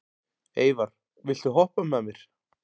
Eyvar, viltu hoppa með mér?